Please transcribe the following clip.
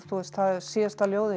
síðasta ljóðið